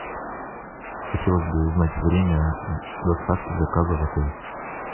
хотелось бы узнать время доставки заказа в отель